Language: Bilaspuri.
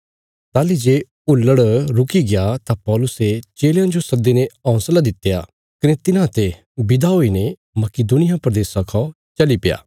ताहली जे हुल्लड़ रुकी गया तां पौलुसे चेलयां जो सद्दीने हौंसला दित्या कने तिन्हांते विदा हुईने मकिदुनिया प्रदेशा खा चली पैया